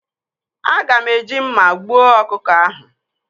Aga m eji mma gbuo ọkụkọ ahụ.